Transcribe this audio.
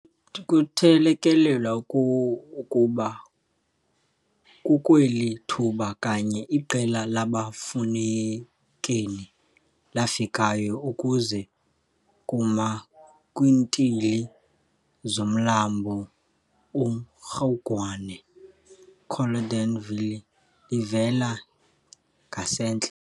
Kuthelekelelwa ukuba kukweli thuba kanye iqela labaFukeni lafikayo, ukuza kuma kwiintili zomlambo uMrhugwane, Caledon Valley, livela ngasentla.